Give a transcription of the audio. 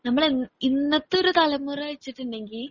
നമ്മള് ഇന്നത്തെ തലമുറ വെച്ചിട്ടുണ്ടെങ്കി